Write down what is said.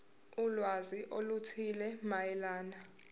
ulwazi oluthile mayelana